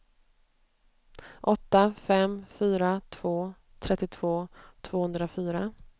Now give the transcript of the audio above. åtta fem fyra två trettiotvå tvåhundrafyra